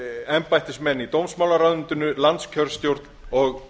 embættismenn í dómsmálaráðuneytinu landskjörstjórn og